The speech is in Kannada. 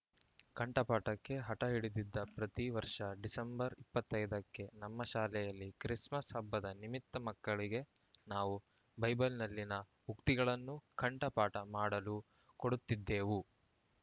ಕಂಠಪಾಟಕ್ಕೆ ಹಟ ಹಿಡಿದಿದ್ದ ಪ್ರತಿ ವರ್ಷ ಡಿಸೆಂಬರ್ ಇಪ್ಪತ್ತ್ ಐದ ಕ್ಕೆ ನಮ್ಮ ಶಾಲೆಯಲ್ಲಿ ಕ್ರಿಸ್‌ಮಸ್‌ ಹಬ್ಬದ ನಿಮಿತ್ತ ಮಕ್ಕಳಿಗೆ ನಾವು ಬೈಬಲ್‌ನಲ್ಲಿನ ಉಕ್ತಿಗಳನ್ನು ಕಂಠಪಾಟ ಮಾಡಲು ಕೊಡುತ್ತಿದ್ದೆವು